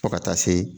Fo ka taa se